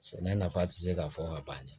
Sɛnɛ nafa ti se ka fɔ ka ban